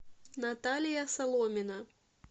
наталья соломина